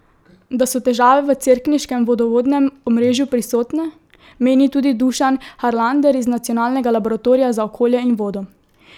Da so težave v cerkniškem vodovodnem omrežju prisotne, meni tudi Dušan Harlander iz nacionalnega laboratorija za okolje in vodo.